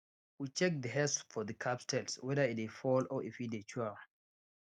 we check the hairs for the calves tail whether e dey fall or if e dey chew am